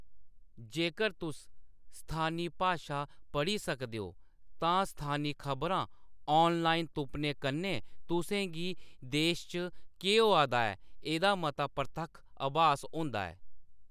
जेकर तुस स्थानी भाशा पढ़ी सकदे ओ, तां स्थानी खबरां ऑनलाइन तुप्पने कन्नै तुसें गी देश च केह्‌‌ होआ दा ऐ एह्‌‌‌दा मता परतक्ख अभास होंदा ऐ।